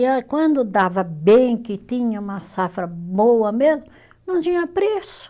E a quando dava bem, que tinha uma safra boa mesmo, não tinha preço.